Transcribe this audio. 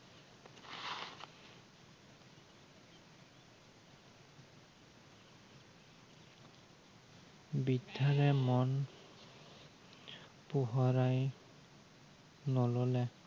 বিদ্য়াৰে মন পোহৰাই নললে।